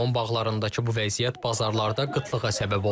Limon bağlarındakı bu vəziyyət bazarlarda qıtlığa səbəb olub.